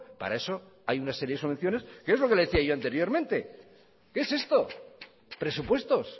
para eso hay una serie de subvenciones que es lo que le decía yo anteriormente que es esto presupuestos